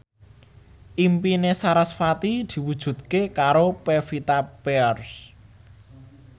impine sarasvati diwujudke karo Pevita Pearce